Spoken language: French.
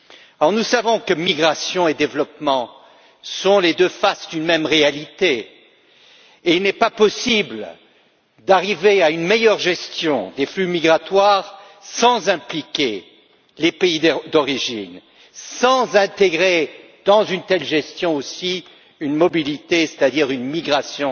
Or, nous savons que migration et développement sont les deux faces d'une même réalité et qu'il n'est pas possible d'arriver à une meilleure gestion des flux migratoires sans impliquer les pays d'origine et sans intégrer aussi, dans une telle gestion, une mobilité, c'est à dire une migration